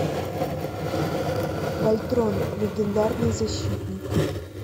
вольтрон легендарный защитник